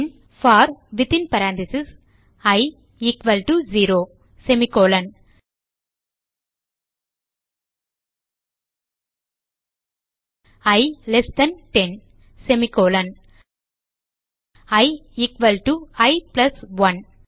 bin for within parenthesis i equal to 0 semicolon i less than 10 semicolon i equal to i plus 1